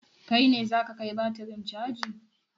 Kai ne za ka kai batirin caji?